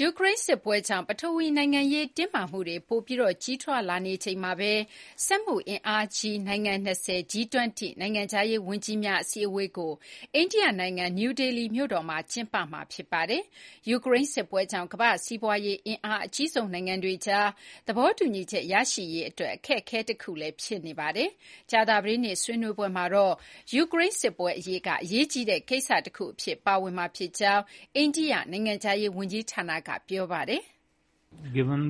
ယူကရိန်းစစ်ပွဲကြောင့် ပထဝီနိုင်ငံရေးတင်းမာမှုတွေ ပိုပြီး ကြီးထွားလာနေချိန်မှာပဲ စက်မှုအင်အားကြီး နိုင်ငံ ၂၀၊ G-20 နိုင်ငံခြားရေးဝန်ကြီးများ အစည်းအဝေးကို အိန္ဒိယနိုင်ငံ နယူးဒေလီမြို့တော်မှာ ကျင်းပမှာဖြစ်ပါတယ်။ ယူကရိန်းစစ်ပွဲကြောင့် ကမ္ဘာ့စီးပွားရေးအင်အားအကြီးဆုံးနိုင်ငံတွေကြား သဘောတူညီချက်ရရှိရေးအတွက် အခက်အခဲတခုဖြစ်နေပါတယ်။ ကြာသပတေးနေ့ ဆွေးနွေးပွဲမှာတော့ ယူကရိန်းစစ်ပွဲအရေးက အရေးကြီးတဲ့ကိစ္စတခုအဖြစ် ပါဝင်မှာဖြစ်ကြောင်း အိန္ဒိယနိုင်ငံခြားရေးဝန်ကြီးဌာနက ပြောထားပါတယ်။ ရုရှား - ယူကရိန်း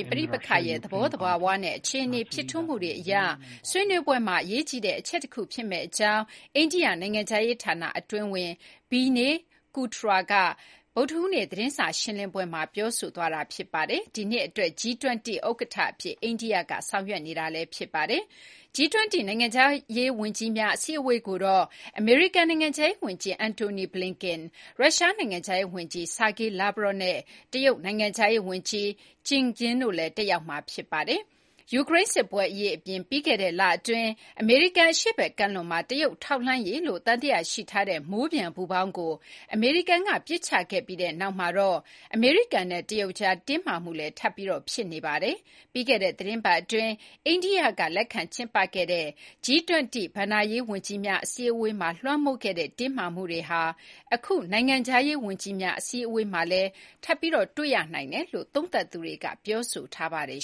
ပဋိပက္ခရဲ့ သဘောသဘာဝနဲ့ အခြေအနေဖြစ်ထွန်းမှုတွေအရ ဆွေးနွေးပွဲမှာ အရေးကြီးတဲ့အချက်တခုဖြစ်မယ့်အကြောင်း အိန္ဒိယနိုင်ငံခြားရေးဌာနအတွင်းဝန် Vinay Kwatra က ဗုဒ္ဓဟူးနေ့ သတင်းစာရှင်းလင်းပွဲမှာ ပြောပါတယ်။ ဒီနှစ်အတွက် G-20 ဥက္ကဋ္ဌအဖြစ် အိန္ဒိယက ဆောင်ရွက်နေတာ ဖြစ်ပါတယ်။ G-20 နိုင်ငံခြားရေးဝန်ကြီးများအစည်းအဝေးကိုတော့ အမေရိကန် နိုင်ငံခြားရေး ဝန်ကြီး Antony Blinken ၊ ရုရှား နိုင်ငံခြားရေးဝန်ကြီး Sergei Lavrov နဲ့ တရုတ်နိုင်ငံခြားရေးဝန်ကြီး Qin Gang တို့လည်း တက်ရောက်ကြမှာဖြစ်ပါတယ်။ ယူကရိန်းစစ်ပွဲအရေးအပြင် ပြီးခဲ့တဲ့ လအတွင်း အမေရိကန်အရှေ့ဘက်ကမ်းလွန်မှာ တရုတ်ထောက်လှမ်းရေးလို့သံသယရှိထားတဲ့ မိုးပျံပူပေါင်းကို အမေရိကန်က ပစ်ချခဲ့ပြီးနောက်မှာတော့ အမေရိကန်နဲ့တရုတ်ကြား တင်းမာမှုလည်း ထပ်ပြီး ဖြစ်နေတာပါ။ ပြီးခဲ့တဲ့သီတင်းပတ်အတွင်း အိန္ဒိယကလက်ခံကျင်းပခဲ့တဲ့ G-20 ဘဏ္ဍာရေး ဝန်ကြီးများအစည်းအဝေးမှာ လွှမ်းမိုးခဲ့တဲ့တင်းမာမှုတွေဟာ အခု နိုင်ငံခြားရေး ဝန်ကြီးများ အစည်းအဝေးမှာလည်း ထပ်ပြီး တွေ့ရနိုင်တယ်လို့ သုံးသပ်သူတွေက ပြောဆိုကြပါတယ်